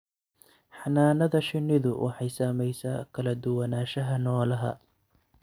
Xannaanada shinnidu waxay saamaysaa kala duwanaanshaha noolaha.